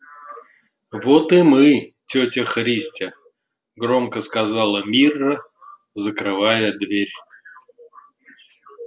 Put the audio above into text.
вот и мы тётя христя громко сказала мирра закрывая дверь